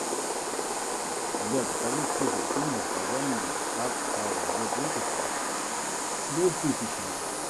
сбер покажи список фильмов по жанру артхаус год выпуска двухтысячного